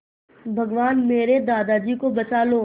भगवान मेरे दादाजी को बचा लो